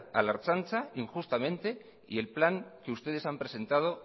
a la ertzaintza injustamente y el plan que ustedes han presentado